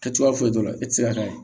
Kɛ cogoya foyi t'o la e tɛ se ka ye